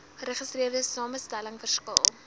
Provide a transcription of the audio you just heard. geregistreerde samestelling verskil